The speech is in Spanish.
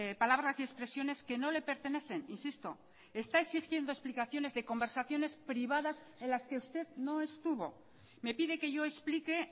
palabras y expresiones que no le pertenecen insisto está exigiendo explicaciones de conversaciones privadas en las que usted no estuvo me pide que yo explique